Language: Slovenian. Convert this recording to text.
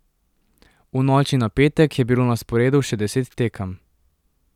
V noči na petek je bilo na sporedu še deset tekem.